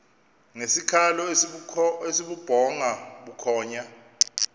ngesikhalo esibubhonga bukhonya